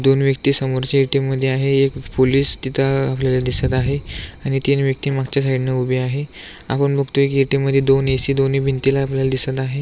दोन व्यक्ति समोर च्या ए.टी.एम. मध्ये आहे एक पोलिस तिथ आपल्याला दिसत आहे आणि तीन व्यक्ति मागच्या साइड ने उभी आहे आपण बघतोय की ए.टी.एम. मध्ये दोन ए.सी. दोन्ही भिंतीला आपल्याला दिसत आहे.